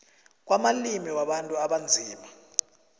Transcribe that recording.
kwamalimi wabantu abanzima